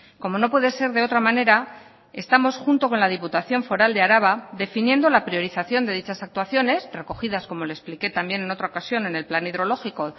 como no puede ser de otra manera estamos junto con la diputación foral de araba definiendo la priorización de dichas actuaciones recogidas como le expliqué también en otra ocasión en el plan hidrológico